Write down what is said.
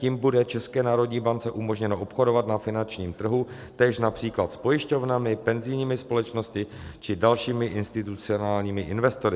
Tím bude České národní bance umožněno obchodovat na finančním trhu též například s pojišťovnami, penzijními společnostmi či dalšími institucionálními investory.